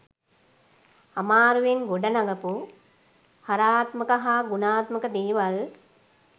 අමාරුවෙන් ගොඩනගපු හරාත්මක හා ගුණාත්මක දේවල්